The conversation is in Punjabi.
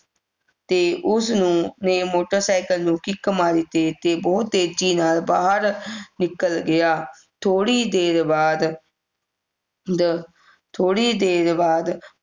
ਤੇ ਉਸ ਨੂੰ ਨੇ ਮੋਟਰਸਾਈਕਲ ਨੂੰ kick ਮਾਰੀ ਤੇ ਤੇ ਬਹੁਤ ਤੇਜੀ ਨਾਲ ਬਾਹਰ ਨਿਕਲ ਗਿਆ ਥੋੜੀ ਦੇਰ ਬਾਅਦ ਥੋੜੀ ਦੇਰ ਬਾਅਦ